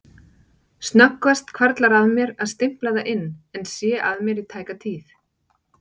Snöggvast hvarflar að mér að stimpla það inn en sé að mér í tæka tíð.